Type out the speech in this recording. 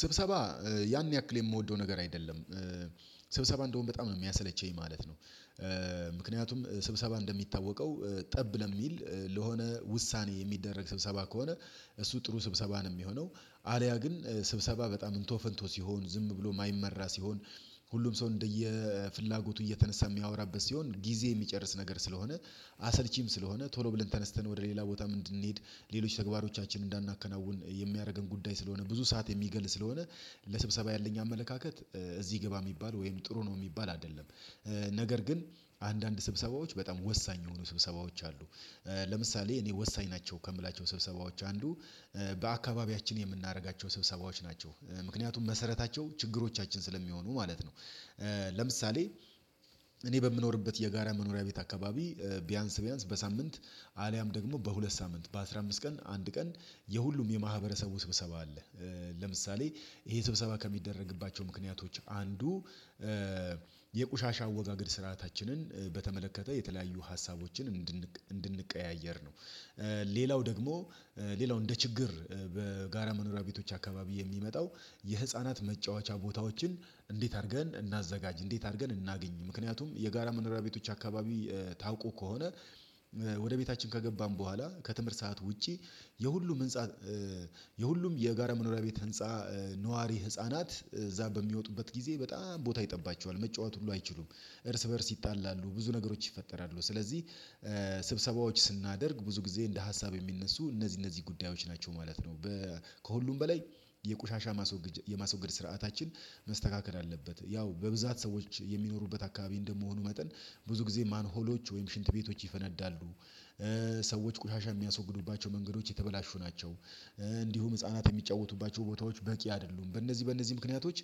ስብሰባ ያን ያክል የምወደው ነገር አይደለም ስብሰባ እንደውም በጣም ነው የሚያሰለቸኝ ማለት ነው። ምክንያቱም ስብሰባ እንደሚታወቀው ጠብ ለሚል ለሆነ ውሳኔ የሚደረግ ስብሰባ ከሆነ። እሱ ጥሩ ስብሰባ ነው የሚሆነው አልያ ግን ስብሰባ በጣም እንቶ ፈንቶ ሲሆን ዝም ብሎ የማይመራ ሲሆን። ሁሉም ሰው እንደየ ፍላጎቱ እየተነሳ የሚያወራበት ሲሆን ጊዜ የሚጨርስ ነገር ስለሆነ አሰልቺም ስለሆነ ቶሎ ብለን ተነስተን ወደ ሌላ ቦታ ምን እንድንሄድ ሌሎች ተግባሮቻችን እንዳናከናውን የሚያደርገን ጉዳይ ስለሆነ ብዙ ሰዓት የሚገል ስለሆነ። ለስብሰባ ያለኝ አመለካከት እዚህ ግባ የሚባል ወይም ጥሩ ነው የሚባል አይደለም። ነገር ግን አንዳንድ ስብሰባዎች በጣም ወሳኝ የሆኑ ስብሰባዎች አሉ። ለምሳሌ እኔ ወሳኝ ናቸው ከምላቸው ስብሰባዎች አንዱ በአካባቢያችን የምናደርጋቸው ስብሰባዎች ናቸው ምክንያቱም መሰረታቸው ችግሮቻችን ስለሚሆኑ ማለት ነው። ለምሳሌ እኔ በምኖርበት የጋራ መኖሪያ ቤት አካባቢ ቢያንስ ቢያንስ በሳምንት አልያም ደግሞ በሁለት ሳምንት በአስራ አምስት ቀን አንድ ቀን የሁሉም የማህበረሰቡ ስብሰባ አለ። ለምሳሌ ይሄ ስብሰባ ከሚደረግባቸው ምክንያቶች አንዱ የቁሻሻ አወጋገድ ስርዓታችንን በተመለከተ የተለያዩ ሀሳቦችን እንድንቀያየር ነው። ሌላው ደግሞ ሌላው እንደ ችግር በጋራ መኖሪያ ቤቶች አካባቢ የሚመጣው የህፃናት መጫወቻ ቦታዎችን እንዴት አድርገን እናዘጋጅ እንዴት አድርገን እናገኝ ምክንያቱም የጋራ መኖሪያ ቤቶች አካባቢ ታውቁ ከሆነ ወደ ቤታችን ከገባን በኋላ ከትምህርት ሰዓት ውጪ የሁሉም ህንፃ የሁሉም የጋራ መኖሪያ ቤት ህንፃ ነዋሪ ህፃናት እዚያ በሚወጡበት ጊዜ በጣም ቦታ ይጠባቸዋል መጫወት ሁሉ አይችሉም። እርስ በእርስ ይጣላሉ ብዙ ነገሮች ይፈጠራሉ ስለዚህ። ስብሰባዎች ስናደርግ ብዙ ጊዜ እንደ ሀሳብ የሚነሱ እነዚህ እነዚህ ጉዳዮች ናቸው ማለት ነው። ከሁሉም በላይ የቆሻሻ የማስወገድ ስርዓታችን መስተካከል አለበት ያው በብዛት ሰዎች የሚኖሩበት አካባቢ እንደመሆኑ መጠን ብዙ ጊዜ ማን ሆሎች ወይም ሽንት ቤቶች ይፈነዳሉ። ሰዎች ቆሻሻ የሚያስወግዱባቸው መንገዶች የተበላሹ ናቸው። እንዲሁም ህፃናት የሚጫወቱባቸው ቦታዎች በቂ አይደሉም በእነዚህ በእነዚህ ምክንያቶች